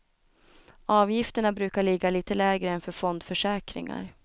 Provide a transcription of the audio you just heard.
Avgifterna brukar ligga lite lägre än för fondförsäkringar.